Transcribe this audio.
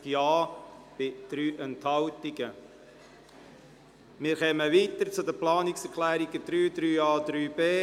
Wir fahren weiter und kommen zu den Planungserklärungen 3, 3a und 3b.